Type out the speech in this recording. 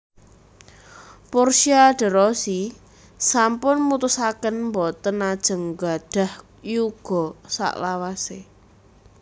Portia de Rossi sampun mutusaken mboten ajeng nggadhah yuga saklawase